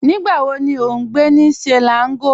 Nígbà wò ní o n gbẹ̀ ní Selangọ̀?